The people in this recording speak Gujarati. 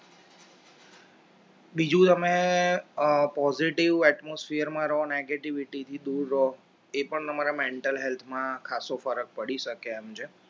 બીજું તમે positive atmosphere માં રહો negativity થી દૂર રહો એ પણ તમારા mental health માં ખાસો ફરક પડી શકે એમ છે